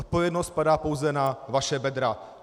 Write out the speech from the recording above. Odpovědnost padá pouze na vaše bedra.